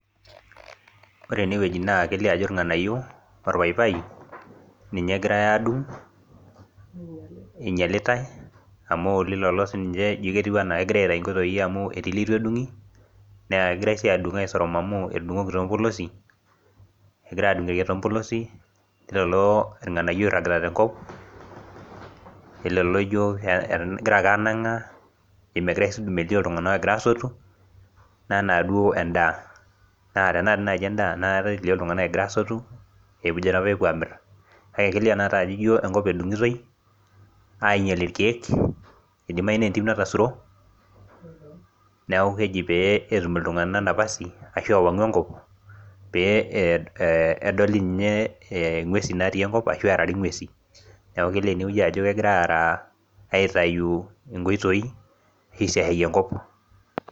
Ore enewueji naa kelio Ajo irng'anayio pawpaw ninye egirai adung enyialitae amu ejio ena kegirai aitau nkoitoi amu kegirai adung aisorom amu etudungoki too mpolosi leilo irng'anayio oiragita tenkop leilolo ejio kegirai angangaa melio iltung'ana egira asotu enaa duo endaa amu tenaa kendaa enakata elio iltung'ana egira asotu ejo pee epuo amir kake ijio enkop edungitoi ainyia irkeek eidimayu naa entim natasuro neeku keji pee etum iltung'ana napasi ashu ewangu enkop pee edolita ng'uesi natii enkop ashu erari ng'uesi neeku kelio enewueji Ajo kegirai aitau nkoitoi aisiashayie enkop